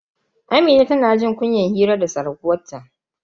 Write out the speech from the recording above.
Amina tana jin kunyan hira da surkuwanta.